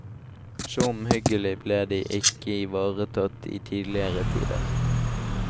Så omhyggelig ble de ikke ivaretatt i tidligere tider.